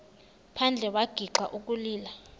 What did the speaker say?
phandle wagixa ukulila